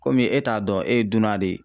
Komi e t'a dɔn e ye dunan de ye.